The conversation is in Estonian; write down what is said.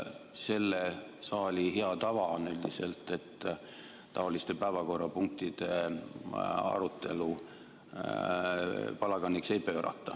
Selle saali hea tava on üldiselt, et seesuguste päevakorrapunktide arutelu palaganiks ei pöörata.